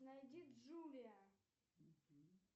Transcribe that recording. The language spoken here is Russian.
найди джулия